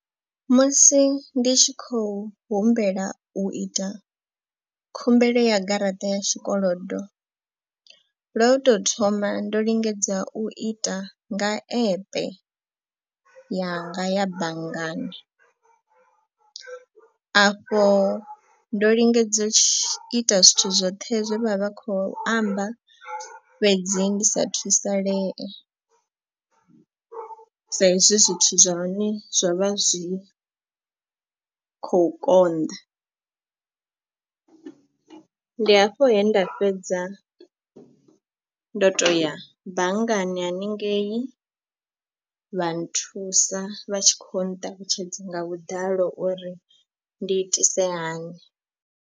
Musi ndi tshi khou humbela u ita khumbelo ya garaṱa ya tshikolodo lwa u to thoma ndo lingedza u ita nga epe yanga ya banngani. Afho ndo lingedza u ita zwithu zwoṱhe zwe vha vha kho amba fhedzi ndi sa thusalee. Sa izwi zwithu zwa hone zwo vha zwi khou konḓa, ndi hafho he nda fhedza ndo to ya banngani haningei vha nthusa vha tshi kho nṱalutshedza nga vhuḓalo uri ndi itise hani.